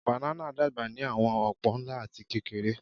Bananas dagba ni awọn opo, nla ati kekere.